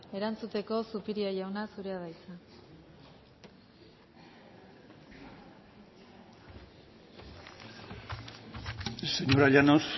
erantzuteko zupiria jauna zurea da hitza señora llanos